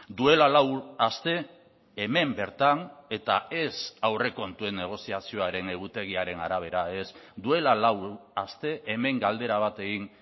duela lau aste hemen bertan eta ez aurrekontuen negoziazioaren egutegiaren arabera ez duela lau aste hemen galdera bat egin